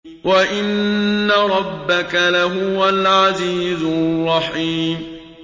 وَإِنَّ رَبَّكَ لَهُوَ الْعَزِيزُ الرَّحِيمُ